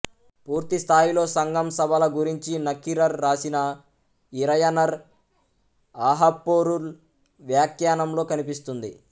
పూర్తి స్థాయిలో సంగం సభల గురించి నక్కీరర్ రాసిన ఇరయనర్ ఆహప్పొరుల్ వ్యాఖ్యానంలో కనిపిస్తుంది